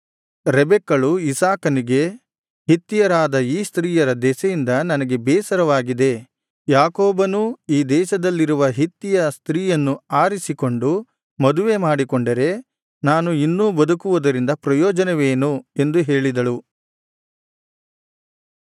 ರೆಬೆಕ್ಕಳು ಇಸಾಕನಿಗೆ ಹಿತ್ತಿಯರಾದ ಈ ಸ್ತ್ರೀಯರ ದೆಸೆಯಿಂದ ನನಗೆ ಬೇಸರವಾಗಿದೆ ಯಾಕೋಬನೂ ಈ ದೇಶದಲ್ಲಿರುವ ಹಿತ್ತಿಯ ಸ್ತ್ರೀಯನ್ನು ಆರಿಸಿಕೊಂಡು ಮದುವೆ ಮಾಡಿಕೊಂಡರೆ ನಾನು ಇನ್ನೂ ಬದುಕುವುದರಿಂದ ಪ್ರಯೋಜನವೇನು ಎಂದು ಹೇಳಿದಳು